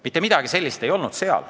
Mitte midagi sellist seal ei olnud.